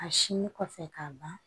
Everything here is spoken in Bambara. A sinnin kɔfɛ k'a ban